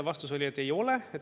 Vastus oli, et ei ole.